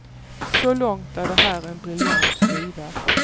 Så långt är det här en briljant skiva.